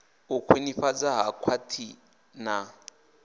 u khwinifhadzwa ha khwaḽithi na